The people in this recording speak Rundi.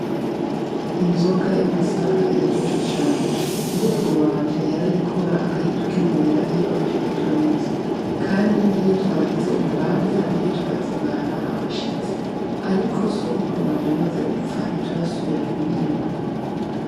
Inzoga y'amasaka iraryoshe cane, sogokuru wanje yarayikora akayitugemurira aje kuturamutsa, kandi iyo twagize urubanza niyo twazimana abashitsi, ariko sogokuru wanje amaze gupfa ntiturasubira kuyinywa.